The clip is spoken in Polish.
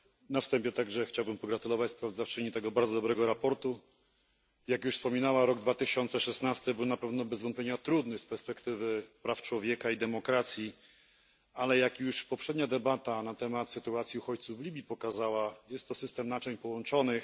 Na wstępie także chciałbym pogratulować sprawozdawczyni tego bardzo dobrego sprawozdania. Jak już wspominała, rok 2016 był na pewno bez wątpienia trudny z perspektywy praw człowieka i demokracji, ale jak już poprzednia debata na temat sytuacji uchodźców w Libii pokazała, jest to system naczyń połączonych.